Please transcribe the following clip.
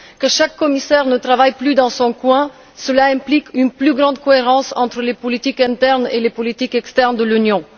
Que chaque commissaire ne travaille plus dans son coin, cela implique une plus grande cohérence entre les politiques internes et les politiques externes de l'Union.